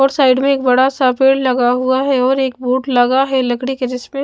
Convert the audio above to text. और साइड में एक बड़ा सा पेड़ लगा हुआ है और एक बूट लगा है लकड़ी के जिसमें--